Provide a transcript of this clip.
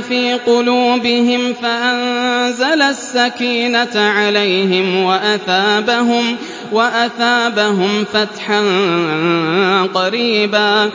فِي قُلُوبِهِمْ فَأَنزَلَ السَّكِينَةَ عَلَيْهِمْ وَأَثَابَهُمْ فَتْحًا قَرِيبًا